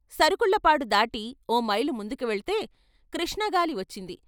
నరుకుళ్ళ పాడు దాటి ఓమైలు ముందుకు వెళితే కృష్ణ గాలి వచ్చింది.